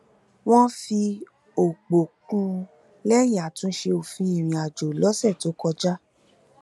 wọn fi òpò kún un lẹyìn àtúnṣe òfin ìrìnàjò lọsẹ tó kọjá